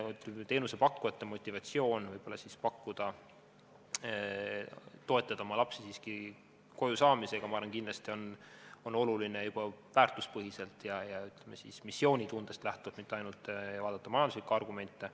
Teenusepakkujate motivatsioon toetada lapsi siiski koju saamisel, ma arvan, kindlasti on oluline juba väärtuspõhiselt ja missioonitundest lähtuvalt, ei vaadata mitte ainult majanduslikke argumente.